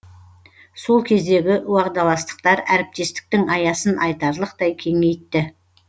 сол кездегі уағдаластықтар әріптестіктің аясын айтарлықтай кеңейтті